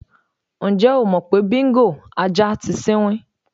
Ǹjé̩ o mò̩ pé Bíngò (ajá) ti sinwín?